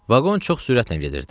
Vaqon çox sürətlə gedirdi.